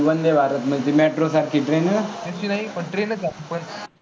तशी नाही पण train चं आहे पण